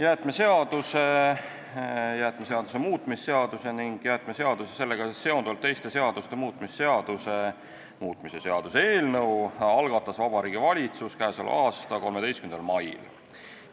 Jäätmeseaduse, jäätmeseaduse muutmise seaduse ning jäätmeseaduse ja sellega seonduvalt teiste seaduste muutmise seaduse muutmise seaduse eelnõu algatas Vabariigi Valitsus k.a 13. mail.